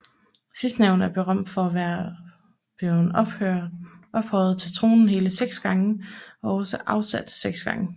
Sidstnævnte er berømt for at være blevet ophøjet til tronen hele seks gange og også afsat seks gange